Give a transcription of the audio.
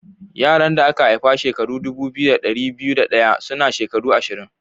Yaran da aka haifa shekara dubu biyu da dari biyu da daya suna shekaru ashirin.